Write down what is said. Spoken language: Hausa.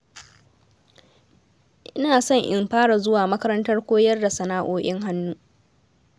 Ina so in fara zuwa makarantar koyar da sana'o'in hannu